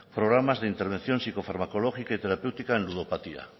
programas de intervención psicofarmacológica y terapéutica en ludopatía